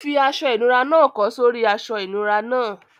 Fi aṣọ ìnura náà kọ́ sórí i aṣọ ìnura náà.